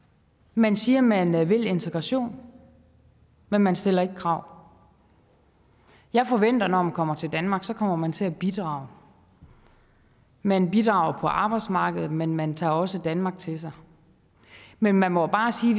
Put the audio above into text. man siger man vil integration men man stiller ikke krav jeg forventer at når man kommer til danmark kommer man til at bidrage man bidrager på arbejdsmarkedet men man tager også danmark til sig men man må bare sige